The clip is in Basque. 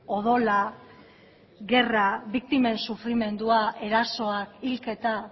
odola gerra biktimen sufrimendua erasoak hilketa